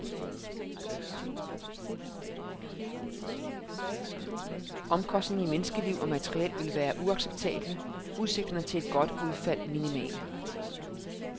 Omkostningerne i menneskeliv og materiel ville være uacceptable, udsigterne til et godt udfald minimale.